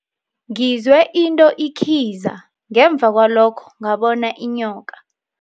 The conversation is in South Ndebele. Ngizwe into ikhiza ngemva kwalokho ngabona inyoka.